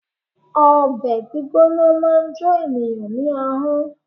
Obè gbígbóná máa n jo ènìyãn ní ahón